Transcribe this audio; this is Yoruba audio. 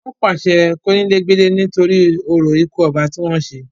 wọ́n pàṣẹ kónílé gbélé nítorí orò ikú ọba tí wọ́n ṣe